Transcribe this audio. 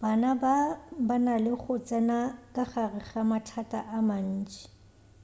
bana ba ba na le go tsena ka gare ga mathata a mantši